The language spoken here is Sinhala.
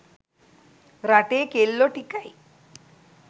රටේ කෙල්ලෝ ටිකයි